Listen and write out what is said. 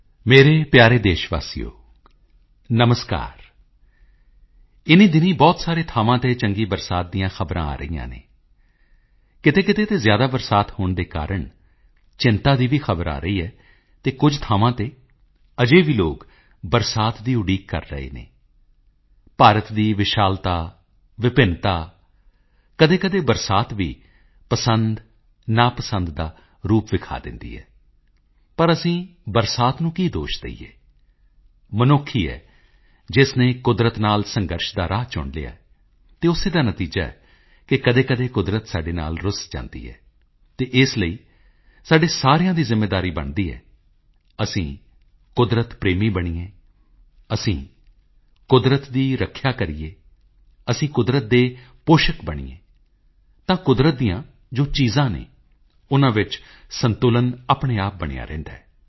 ਮੇਰੇ ਪਿਆਰੇ ਦੇਸ਼ ਵਾਸੀਓ ਨਮਸਕਾਰ ਇਨ੍ਹੀਂ ਦਿਨੀਂ ਬਹੁਤ ਸਾਰੇ ਥਾਵਾਂ ਤੇ ਚੰਗੀ ਬਰਸਾਤ ਦੀਆਂ ਖਬਰਾਂ ਆ ਰਹੀਆਂ ਹਨ ਕਿਤੇਕਿਤੇ ਤੇ ਜ਼ਿਆਦਾ ਬਰਸਾਤ ਹੋਣ ਦੇ ਕਾਰਣ ਚਿੰਤਾ ਦੀ ਵੀ ਖ਼ਬਰ ਆ ਰਹੀ ਹੈ ਅਤੇ ਕੁਝ ਥਾਵਾਂ ਤੇ ਅਜੇ ਵੀ ਲੋਕ ਬਰਸਾਤ ਦੀ ਉਡੀਕ ਕਰ ਰਹੇ ਹਨ ਭਾਰਤ ਦੀ ਵਿਸ਼ਾਲਤਾ ਵਿਭਿੰਨਤਾ ਕਦੇਕਦੇ ਬਰਸਾਤ ਵੀ ਪਸੰਦ ਨਾਪਸੰਦ ਦਾ ਰੂਪ ਦਿਖਾ ਦਿੰਦੀ ਹੈ ਪਰ ਅਸੀਂ ਬਰਸਾਤ ਨੂੰ ਕੀ ਦੋਸ਼ ਦੇਈਏ ਮਨੁੱਖ ਹੀ ਹੈ ਜਿਸ ਨੇ ਕੁਦਰਤ ਨਾਲ ਸੰਘਰਸ਼ ਦਾ ਰਾਹ ਚੁਣ ਲਿਆ ਹੈ ਅਤੇ ਉਸੇ ਦਾ ਨਤੀਜਾ ਹੈ ਕਿ ਕਦੇਕਦੇ ਕੁਦਰਤ ਸਾਡੇ ਨਾਲ ਰੁੱਸ ਜਾਂਦੀ ਹੈ ਅਤੇ ਇਸ ਲਈ ਸਾਡੇ ਸਾਰਿਆਂ ਦੀ ਜ਼ਿੰਮੇਵਾਰੀ ਬਣਦੀ ਹੈਅਸੀਂ ਕੁਦਰਤ ਪ੍ਰੇਮੀ ਬਣੀਏ ਅਸੀਂ ਕੁਦਰਤ ਦੀ ਰੱਖਿਆ ਕਰੀਏ ਅਸੀਂ ਕੁਦਰਤ ਦੇ ਪੋਸ਼ਕ ਬਣੀਏ ਤਾਂ ਕੁਦਰਤ ਦੀਆਂ ਜੋ ਚੀਜ਼ਾਂ ਹਨ ਉਨ੍ਹਾਂ ਵਿੱਚ ਸੰਤੁਲਨ ਆਪਣੇ ਆਪ ਬਣਿਆ ਰਹਿੰਦਾ ਹੈ